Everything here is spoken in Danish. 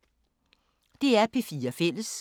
DR P4 Fælles